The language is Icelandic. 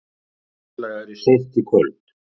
Austlægari seint í kvöld